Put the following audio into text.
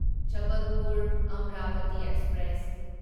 Jabalpur Amravati express